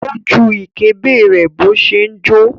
Ó ju ìkébè rẹ̀ bó ṣe ń jó.